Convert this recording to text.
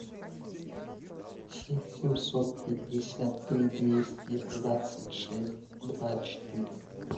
семь семьсот пятьдесят три двести двадцать шесть два четыре